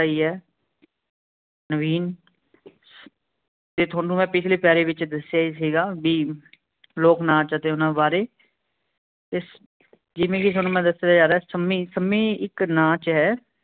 ਸਹੀ ਹੈ ਨਵੀਨ ਜੇ ਤੁਹਾਨੂੰ ਮੈਂ ਪਿਛਲੇ ਪੇਰੇ ਵਿਚ ਦਸਿਆ ਹੀ ਸੀਗਾ ਵੀ ਲੋਕ ਨਾਚ ਅਤੇ ਊਨਾ ਬਾਰੇ ਇਸ ਜਿਂਵੇ ਕਿ ਮੈਂ ਤੁਹਾਨੂੰ ਦਸਿਆ ਜਾਰੇਹਾ ਸਮੀ ਸਮੀ ਏਕ ਨਾਚ ਹੈ